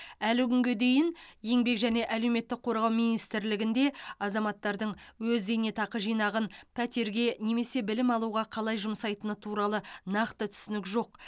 әлі күнге дейін еңбек және әлеуметтік қорғау министрлігінде азаматтардың өз зейнетақы жинағын пәтерге немесе білім алуға қалай жұмсайтыны туралы нақты түсінік жоқ